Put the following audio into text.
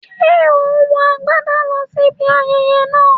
Ṣé ò ń wọ agbádà lọ sí ibi ayẹyẹ náà?